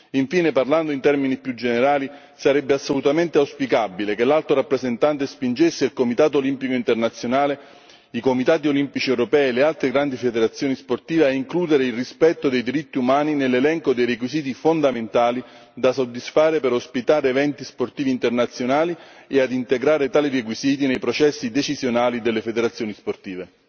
Infine, parlando in termini più generali sarebbe assolutamente auspicabile che l'Alto rappresentante spingesse il Comitato olimpico internazionale, i Comitati olimpici europei e le altre grandi federazioni sportive a includere il rispetto dei diritti umani nell'elenco dei requisiti fondamentali da soddisfare per ospitare eventi sportivi internazionali e a integrare tali requisiti nei processi decisionali delle federazioni sportive.